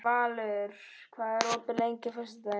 Valur, hvað er opið lengi á föstudaginn?